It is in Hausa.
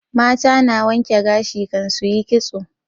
Mata na wanke gashi kan su yi ƙitso